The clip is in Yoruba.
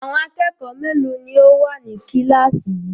Àwọn akẹ́kọ̀ọ́ mélòó ni ó wà ní kíláàsì yìí?